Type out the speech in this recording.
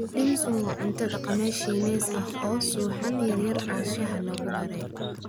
Dim sum waa cunto dhaqameed Shiinees ah oo ah suxuun yar yar oo shaaha lagu daray.